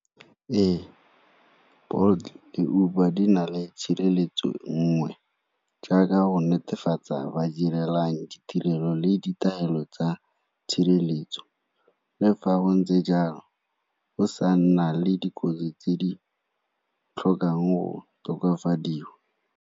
Ee, Bolt le Uber di na le tshireletso nngwe jaaka go netefatsa ba direlang ditirelo le ditaelo tsa tshireletso. Le fa go ntse jalo go sa nna le dikotsi tse di tlhokang go tokafadiwa.